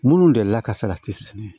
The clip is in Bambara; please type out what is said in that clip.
Minnu delila ka salati sɛnɛ